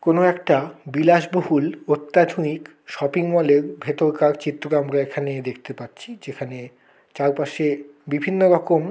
কোনো একটা বিলাসবহুল অত্যাধুনিক শপিং মল এর ভেতরকার চিত্র টা আমরা এখানে দেখতে পাচ্ছি যেখানে চারপাশে বিভিন্ন রকম--